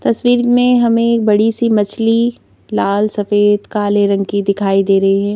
तस्वीर में हमें बड़ी सी मछली लाल सफेद काले रंग की दिखाई दे रही है।